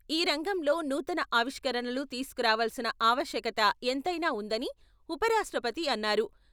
ఈ రంగంలో నూతన ఆవిష్కరణలు తీసుకురావాల్సిన ఆవశ్యకత ఎంతైనా వుందని ఉపరాష్ట్రపతి అన్నారు.